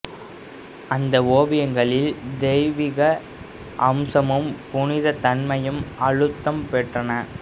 அந்த ஓவியங்களில் தெய்விக அம்சமும் புனிதத் தன்மையும் அழுத்தம் பெற்றன